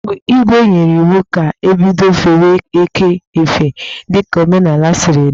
Igwè nyere iwu ka ebido fewe ekè efe dika omenala siri dị.